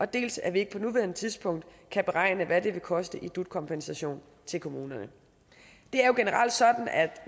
dels at vi ikke på nuværende tidspunkt kan beregne hvad det vil koste i dut kompensation til kommunerne det er jo generelt sådan at